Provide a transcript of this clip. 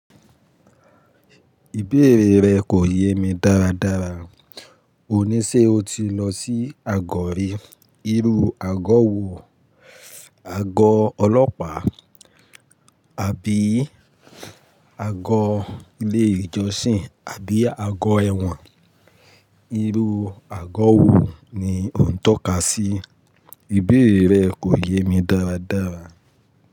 Ìbéèrè rẹ kò yé mi dáradára. Òní ṣe o ti lọ sí àgọ́ rí? Irú àgọ́ wo? Àgọ́ ọlọ́pàá àbí àgọ́ ilé ìjọsìn àbí àgọ́ ẹ̀wọ̀n? Irú àgọ́ wo ni o ń tọ́ka sí? Ìbéèrè rẹ kò yé mi dáradára.